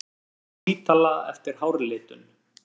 Fór á spítala eftir hárlitun